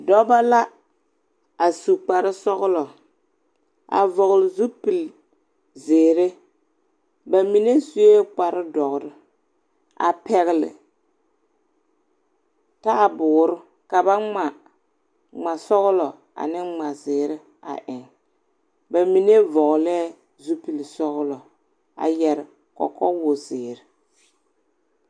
Dͻbͻ la, a su kpare sͻgelͻ, a vͻgele zeere. Ba mine sue kpare dõͻre, a pԑgele taaboore ka ba ŋma ŋmasͻgelͻ ane ŋmazeere a eŋ. Ba mine vͻgelԑԑ zupili sͻgelͻ a yԑre kͻkͻwozeere.